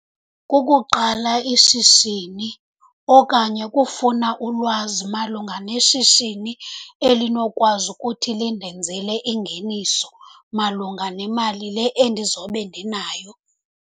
Kukuqala ishishini okanye kufuna ulwazi malunga neshishini elinokwazi ukuthi lindenzele ingeniso malunga nemali le endizobe ndinayo.